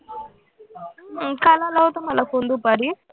अं काल आला होता मला phone दुपारी